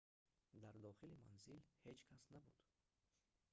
дар дохили манзил ҳеҷ кас набуд